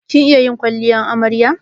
Kin iya yin kwalliyar amarya?